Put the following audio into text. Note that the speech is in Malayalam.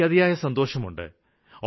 എനിക്ക് അതിയായ സന്തോഷമുണ്ട്